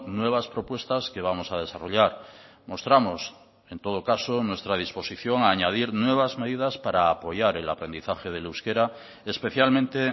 nuevas propuestas que vamos a desarrollar mostramos en todo caso nuestra disposición a añadir nuevas medidas para apoyar el aprendizaje del euskera especialmente